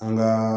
An ka